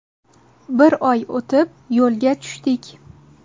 Bir oy o‘tib, yo‘lga tushdik.